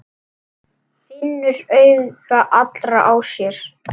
Finnur augu allra á sér.